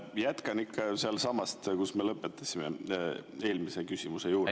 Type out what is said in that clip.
Jätkan ikka sealtsamast, kus me lõpetasime, eelmise küsimuse juurest …